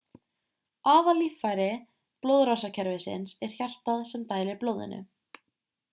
aðallíffæri blóðrásarkerfisins er hjartað sem dælir blóðinu